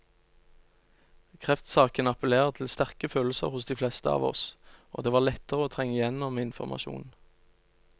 Kreftsaken appellerer til sterke følelser hos de fleste av oss, og det var lettere å trenge igjennom med informasjon.